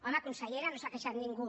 home consellera no s’ha queixat ningú